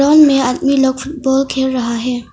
Lawn में आदमी लोग फुटबॉल खेल रहा है।